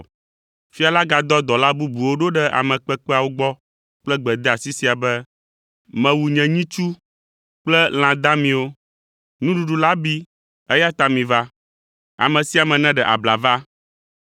Fia la gadɔ dɔla bubuwo ɖo ɖe ame kpekpeawo gbɔ kple gbedeasi sia be, ‘Mewu nye nyitsu kple lã damiwo, nuɖuɖu la bi, eya ta miva. Ame sia ame neɖe abla va.’